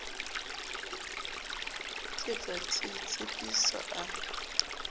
ke bra t tshepiso a